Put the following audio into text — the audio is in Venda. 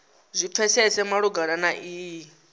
zwi pfesese malugana na iyi